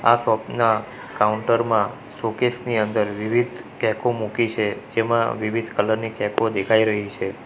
આ શોપ ના કાઉન્ટર માં શોકેસ ની અંદર વિવિધ કેકો મૂકી છે જેમાં વિવિધ કલર ની કેકો દેખાઈ રહી છે.